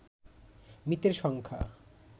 মৃতের সংখ্যা